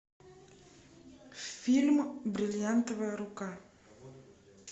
фильм бриллиантовая рука